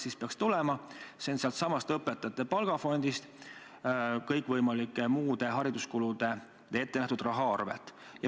See peaks tulema sealtsamast õpetajate palgafondist, kõikvõimalikeks muudeks hariduskuludeks ette nähtud raha arvelt.